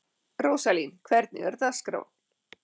Róslín, hvernig er dagskráin?